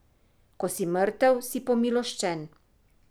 Ko si mrtev, si pomiloščen.